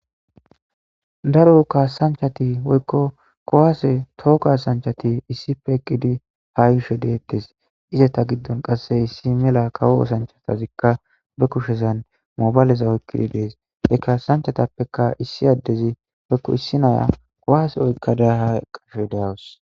Daro kasan hati woyko kuwase to kasanchati issipe eqidi ha yishe deetes izeta gidon qase issi kawo oosanchatazika be kushezan mobale oykidi des ha kasanchatapeka issi adezi woylo issi Naya kuwase oykada ha yashe daws